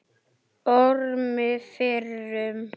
Ormi fyrrum.